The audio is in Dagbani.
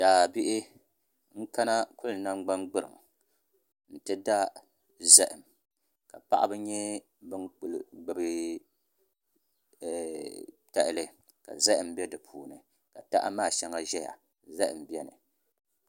Daabihi n kana kuli nangbani gburiŋ n ti da zaham ka paɣaba nyɛ bin ku gbubi tahali ka zahama bɛ di puuni ka taha maa shɛŋa ʒɛya zaham biɛni